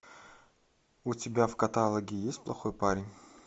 у тебя в каталоге есть плохой парень